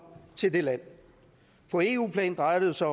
til det land på eu plan drejer det sig